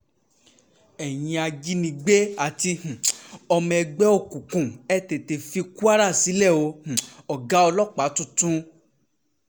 ẹ̀yin ajínigbé àti um ọmọ ẹgbẹ́ òkùnkùn ẹ̀ tètè fi kwara sílẹ̀ o -ọ̀gá um ọlọ́pàá tuntun